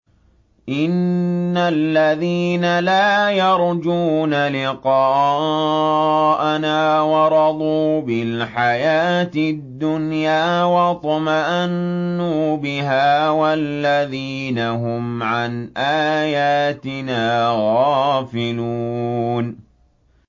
إِنَّ الَّذِينَ لَا يَرْجُونَ لِقَاءَنَا وَرَضُوا بِالْحَيَاةِ الدُّنْيَا وَاطْمَأَنُّوا بِهَا وَالَّذِينَ هُمْ عَنْ آيَاتِنَا غَافِلُونَ